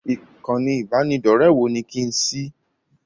Ìkànnì ibanidọ̀rẹ́ wo ni kí n ṣí?